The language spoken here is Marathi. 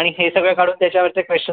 आणि हे सगळं काढून त्याच्या वरचे questions